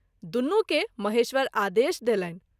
दुनू के महेश्वर आदेश देलनि।